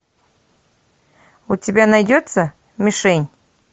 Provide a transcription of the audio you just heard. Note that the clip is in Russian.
у тебя найдется мишень